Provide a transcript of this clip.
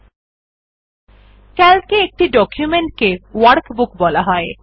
CALC এ একটি document কে ওয়ার্কবুক বলা হয়